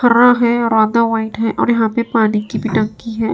हरा है आधा व्हाइट है और यहां पे पानी की भी टंकी है।